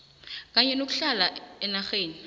kanye nokuhlala enarheni